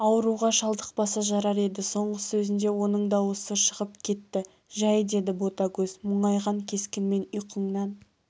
ауруға шалдықпаса жарар еді соңғы сөзінде оның дауысы шығып кетті жәй деді ботагөз мұңайған кескінмен ұйқыңнан